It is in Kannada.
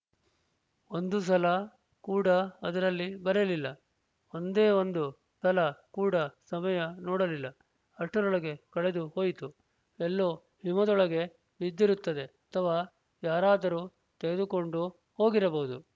ಒಂದು ಸಲ ಕೂಡ ಅದರಲ್ಲಿ ಬರೆಯಲಿಲ್ಲ ಒಂದೇ ಒಂದು ಸಲ ಕೂಡ ಸಮಯ ನೋಡಲಿಲ್ಲ ಅಷ್ಟರೊಳಗೆ ಕಳೆದು ಹೋಯಿತು ಎಲ್ಲೋ ಹಿಮದೊಳಗೆ ಬಿದ್ದಿರುತ್ತದೆ ಅಥವಾ ಯಾರಾದರೂ ತೆಗೆದುಕೊಂಡು ಹೋಗಿರಬಹುದು